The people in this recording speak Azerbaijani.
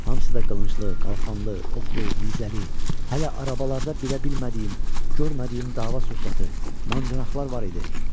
Hamısı da qılınclı, qalxanlı, oxlu, nizəli, hələ arabalarda bilə bilmədiyim, görmədiyim dava sursatı, mancanaqlar var idi.